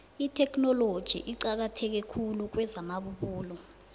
itheknoloji iqakatheke khulu kwezamabubulo